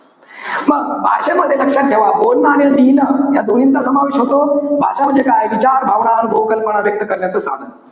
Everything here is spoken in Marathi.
मग भाषेमध्ये लक्षात ठेवा. बोलणं आणि लिहिणं या दोन्हींचा समावेश होतो. भाषा म्हणजे काय? विचार, अनुभव, भावना कल्पना व्यक्त करण्याचं साधन.